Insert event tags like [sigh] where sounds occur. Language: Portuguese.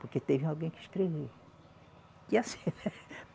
Porque teve alguém que escreveu. [laughs]